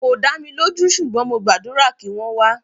Kò dá mi lójú ṣùgbọ́n mo gbàdúrà kí wọ́n wá.